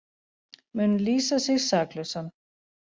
Mun lýsa sig saklausan